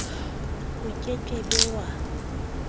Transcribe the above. o ke ke be wa